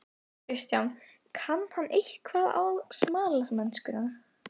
Kristján: Kann hann eitthvað á smalamennskuna?